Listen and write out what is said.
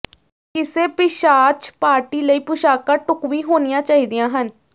ਕਿਸੇ ਪਿਸ਼ਾਚ ਪਾਰਟੀ ਲਈ ਪੁਸ਼ਾਕਾਂ ਢੁਕਵੀਂ ਹੋਣੀਆਂ ਚਾਹੀਦੀਆਂ ਹਨ